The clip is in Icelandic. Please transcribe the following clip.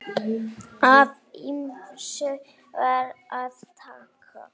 Af ýmsu var að taka.